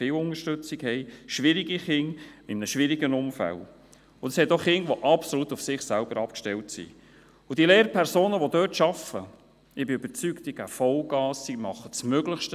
Wann haben Sie in den letzten zehn Jahren einmal eine neunte Realklasse besucht?